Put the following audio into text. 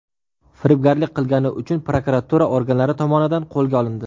firibgarlik qilgani uchun prokuratura organlari tomonidan qo‘lga olindi.